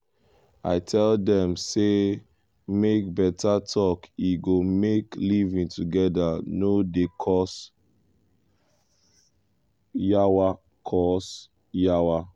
i tell dem say make beta talk e go make living together no dey cause yawa. cause yawa.